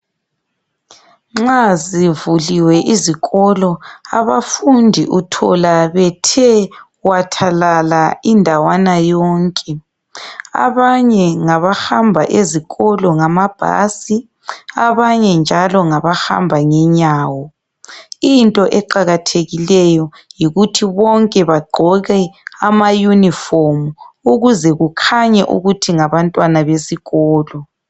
Nxa zivuliwe izikolo abafundi uthola bethe wathalala indawana yonke abanye ngabahamba ezikolo ngamabhasi abanye njalo ngabahamba ngenyawo, into eqakathekileyo yikuthi bonke bagqoke ama uniform ukuze kukhanye ukuthi ngabantwana besikolo.